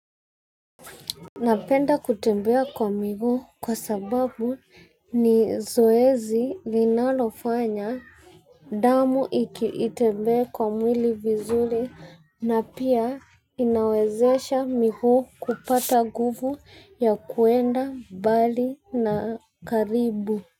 Napenda kutembea kwa miguu kwa sababu ni zoezi linalofanya damu itembea kwa mwili vizuri na pia inawezesha miguu kupata nguvu ya kwenda mbali na karibu.